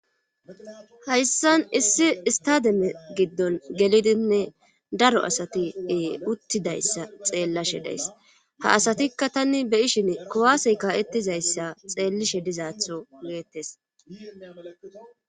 hayssan issi istademe giddon gelidinne daro asati uttidayssa xeellashe days ha asatikka tani be7ishini kuwaasey kaa7etizayssa xeellishe dizaatho deettes.